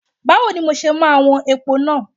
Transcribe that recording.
Báwo ni mo ṣe máa wọn epo náà?